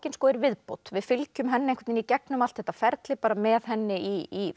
er viðbót við fylgjum henni í gegnum allt þetta ferli bara með henni í